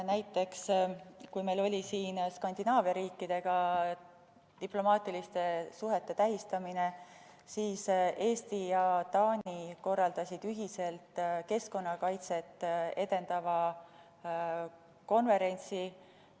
Näiteks, kui meil oli siin Skandinaavia riikidega diplomaatiliste suhete tähistamine, siis Eesti ja Taani korraldasid ühiselt keskkonnakaitset edendava konverentsi.